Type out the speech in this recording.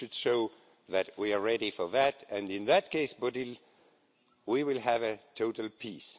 We should show that we are ready for that and in that case, Bodil, we will have total peace.